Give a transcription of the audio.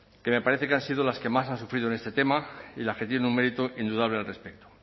que me parece que han sido las que más han sufrido en esta tema y las que tienen un mérito indudable al respecto